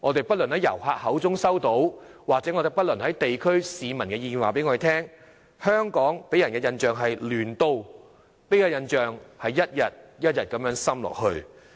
不論是從遊客口中得知，或是地區市民的意見也告訴我們，香港給人的印象是"亂都"，這個印象正一天一天地加深。